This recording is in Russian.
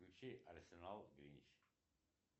включи арсенал гринч